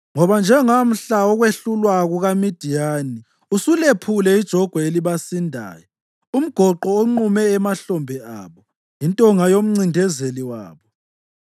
Ngoba njengamhla wokwehlulwa kukaMidiyani usulephule ijogwe elibasindayo, umgoqo onqume emahlombe abo, intonga yomncindezeli wabo.